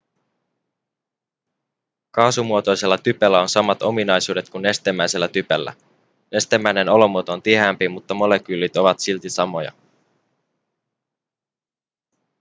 kaasumuotoisella typellä on samat ominaisuudet kuin nestemäisellä typellä nestemäinen olomuoto on tiheämpi mutta molekyylit ovat silti samoja